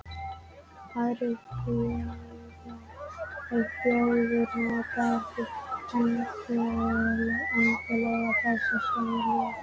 Aðrar þjóðir nota ekki endilega þessa sömu titla.